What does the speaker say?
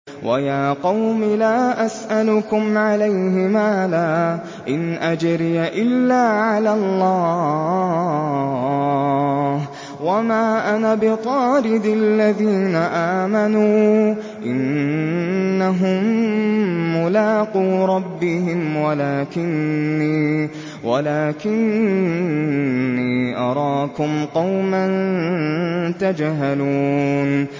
وَيَا قَوْمِ لَا أَسْأَلُكُمْ عَلَيْهِ مَالًا ۖ إِنْ أَجْرِيَ إِلَّا عَلَى اللَّهِ ۚ وَمَا أَنَا بِطَارِدِ الَّذِينَ آمَنُوا ۚ إِنَّهُم مُّلَاقُو رَبِّهِمْ وَلَٰكِنِّي أَرَاكُمْ قَوْمًا تَجْهَلُونَ